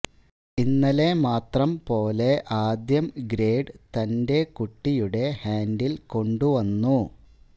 ഇന്നലെ മാത്രം പോലെ ആദ്യം ഗ്രേഡ് തന്റെ കുട്ടിയുടെ ഹാൻഡിൽ കൊണ്ടുവന്നു